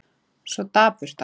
Svo dapurt allt.